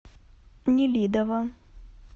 нелидово